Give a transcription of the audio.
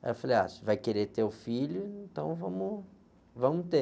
Aí eu falei, ah, você vai querer ter o filho, então vamos, vamos ter.